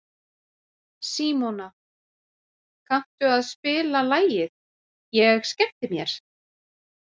Símona, kanntu að spila lagið „Ég skemmti mér“?